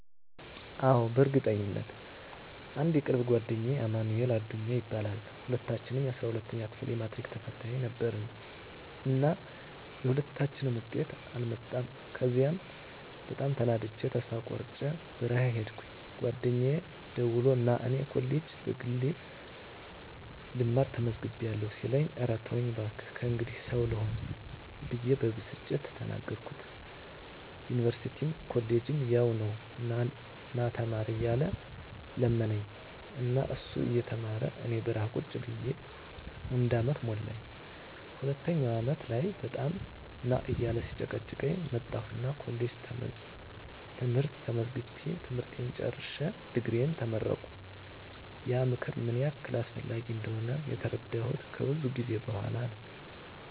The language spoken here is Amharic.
አዎ፣ በእርግጠኝነት! *አንድ የቅርብ ጓደኛዬ አማንኤል አዱኛ ይባላል፦ *ሁለታችንም የ12ኛ ክፍል የማትሪክ ተፈታኝ ነበርን እና የሁለታችንም ውጤት አልመጣም ከዚያ በጣም ተናድጀ ተስፋ ቆርጨ በረሀ ሂድኩኝ ጓደኛየ ደውሎ ና እኔ ኮሌጅ በግሌ ልማር ተመዝግቢያለሁ ሲለኝ እረ ተወኝ ባክህ ከእንግዲህ ሰው ልሆን ብየ በብስጭት ተናገርኩት ዩኒቨርስቲም ኮሌጅም ያው ነው ና ተማር እያለ ለመነኝ እና እሱ እየተማረ እኔ በረሀ ቁጭ ብየ አንድ አመት ሞላኝ ሁለተኛው አመት ላይ በጣም ና እያለ ሲጨቀጭቀኝ መጣሁና ኮሌጅ ትምህርት ተመዝግቤ ትምህርቴን ጨርሸ ድግሪየን ተመረቀሁ። *ያ ምክር ምን ያህል አስፈላጊ እንደሆነ የተረዳሁት ከብዙ ጊዜ በኋላ ነው።